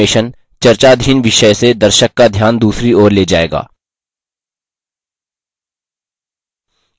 अधिक animation चर्चाधीन विषय से दर्शक का ध्यान दूसरी ओर ले जायेगा